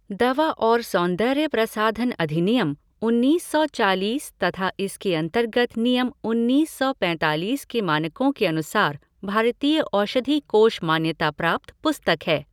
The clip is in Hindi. दवा और सौंदर्य प्रसाधन अधिनियम, उन्नीस सौ चालीस तथा इसके अंतर्गत नियम उन्नीस सौ पैंतालीस के मानकों के अनुसार भारतीय औषधि कोष मान्यता प्राप्त पुस्तक है।